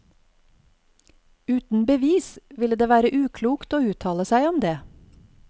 Uten bevis vil det være uklokt å uttale seg om det.